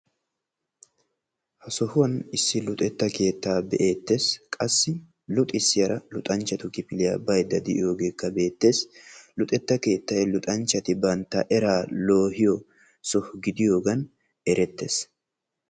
ha sohuwaan issi luxetta keettaa be"eettees. qassi luxxisiyaara luxanchchatu kifiliyaa baydda de'iyoogekka beettees. luxetta luxanchchati bantta eraa loohiyoo soho gidiyoogee erettees.